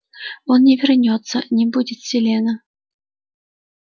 он не вернётся не будет селена